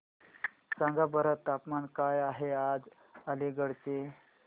सांगा बरं तापमान काय आहे आज अलिगढ चे